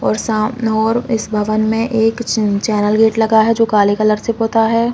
और शाम और इस भवन में एक चेन चैनल गेट लगा है जो काले रंग से पोता हैं।